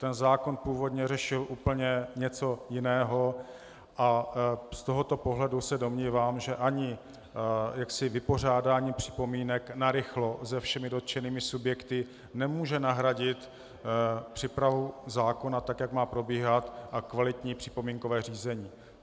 Ten zákon původně řešil úplně něco jiného a z tohoto pohledu se domnívám, že ani vypořádání připomínek narychlo se všemi dotčenými subjekty nemůže nahradit přípravu zákona tak, jak má probíhat, a kvalitní připomínkové řízení.